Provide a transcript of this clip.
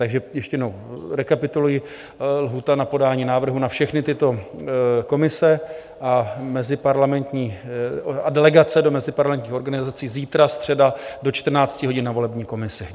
Takže ještě jednou rekapituluji - lhůta na podání návrhů na všechny tyto komise a delegace do meziparlamentních organizací: zítra, středa, do 14 hodin na volební komisi.